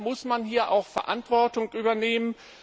Deshalb muss man hier auch Verantwortung übernehmen.